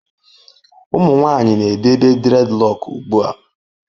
Ụmụ nwanyị na-edebe dreadlock ugbu a.